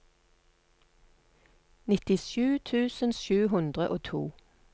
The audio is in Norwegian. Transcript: nittisju tusen sju hundre og to